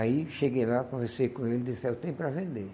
Aí cheguei lá, conversei com ele e disse, eu tenho para vender.